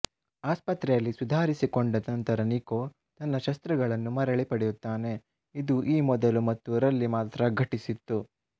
ಆಸ್ಪತ್ರೆಯಲ್ಲಿ ಸುಧಾರಿಸಿಕೊಂಡ ನಂತರ ನಿಕೊ ತನ್ನ ಶಸ್ತ್ರಗಳನ್ನು ಮರಳಿ ಪಡೆಯುತ್ತಾನೆ ಇದು ಈ ಮೊದಲು ಮತ್ತು ರಲ್ಲಿ ಮಾತ್ರ ಘಟಿಸಿತ್ತು